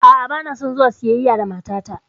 A'a, banason zuwa siyayya da matata.